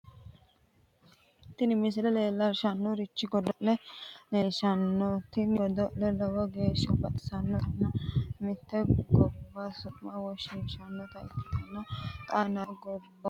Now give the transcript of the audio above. tini misile leellishshannorichi godo'le leellishshanno tini godo'leno lowo geeshsha baxissannotanna mitte gobba su'ma woshshiishshannota ikkite xaa yanna gobboomu deerrinni godo'lantanni noote lekkate kaase godo'leeti.